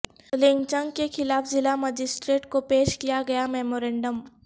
lynching کے خلاف ضلع مجسٹریٹ کو پیش کیا گیا میمورنڈم